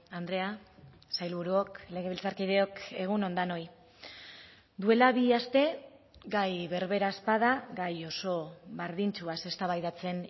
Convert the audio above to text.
andrea sailburuok legebiltzarkideok egun on denoi duela bi aste gai berbera ez bada gai oso berdintsuaz eztabaidatzen